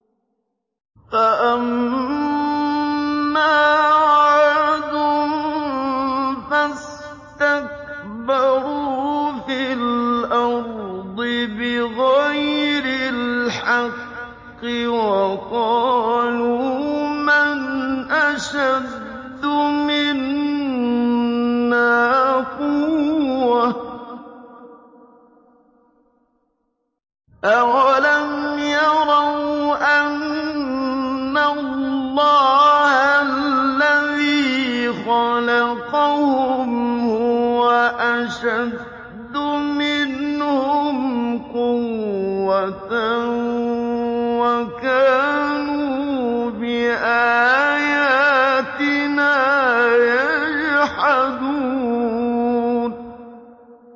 فَأَمَّا عَادٌ فَاسْتَكْبَرُوا فِي الْأَرْضِ بِغَيْرِ الْحَقِّ وَقَالُوا مَنْ أَشَدُّ مِنَّا قُوَّةً ۖ أَوَلَمْ يَرَوْا أَنَّ اللَّهَ الَّذِي خَلَقَهُمْ هُوَ أَشَدُّ مِنْهُمْ قُوَّةً ۖ وَكَانُوا بِآيَاتِنَا يَجْحَدُونَ